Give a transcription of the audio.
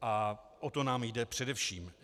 A o to nám jde především.